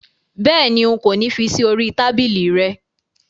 Béèni, n̄ kò ní fí sí orí i tábìlì rẹ